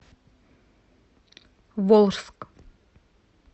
волжск